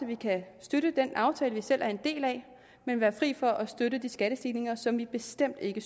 vi kan støtte den aftale vi selv er en del af men være fri for at støtte de skattestigninger som vi bestemt ikke